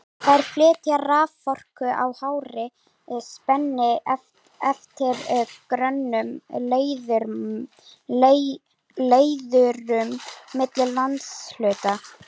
Þær flytja raforku á hárri spennu eftir grönnum leiðurum milli landshluta.